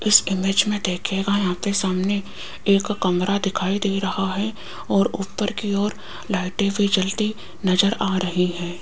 इस इमेज में दिखेगा आपके सामने एक कमरा दिखाई दे रहा है और ऊपर की ओर लाइटे भी जलती नजर आ रही है।